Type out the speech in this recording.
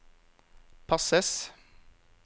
passes